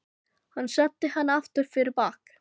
Hann setti hana aftur fyrir bak.